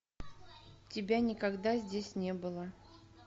тебя никогда здесь не было